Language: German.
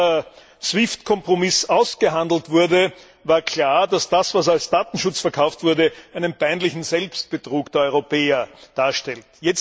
Schon als der SWIFT Kompromiss ausgehandelt wurde, war klar, dass das, was als Datenschutz verkauft wurde, einen peinlichen Selbstbetrug der Europäer darstellt.